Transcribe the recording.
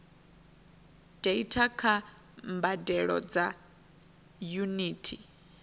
data kha mbadelo dza yunithi